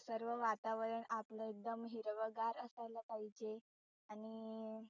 सर्व वातावरण आपल एकदम हिरवगार असायला पाहिजे. आणि